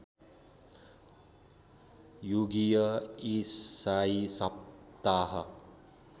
युगीय ईसाई सप्ताह